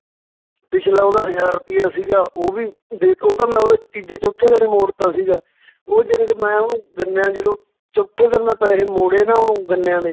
ਪਿੱਛਲਾ ਉਹਦਾ ਹਜਾਰ ਰੁਪਈਆ ਸੀਗਾ ਉਹ ਵੀ ਦੇ, ਉਹ ਤਾਂ ਮੈਂ ਉਹਦਾ ਤੀਜੇ ਚੌਥੇ ਦਿਨ ਹੀ ਮੋੜਤਾ ਸੀਗਾ ਉਹ ਜਾਣੀ ਕਿ ਮੈਂ ਓਹਨੂੰ ਗੰਨਿਆਂ ਜਦੋਂ ਚੌਥੇ ਦਿਨ ਮੈਂ ਪੈਸੇ ਮੌੜੇ ਨਾ ਓਹਨੂੰ ਗੰਨਿਆਂ ਦੇ